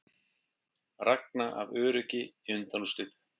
Ragna af öryggi í undanúrslit